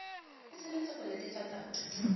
e tshwanetse go netefatsa gore